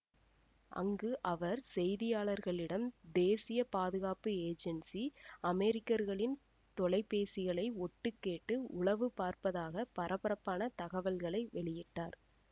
அங்கு அவர் செய்தியாளர்களிடம் தேசிய பாதுகாப்பு ஏஜென்சி அமெரிக்கர்களின் தொலைபேசிகளை ஒட்டு கேட்டு உளவு பார்ப்பதாக பரபரப்பான தகவல்களை வெளியிட்டார்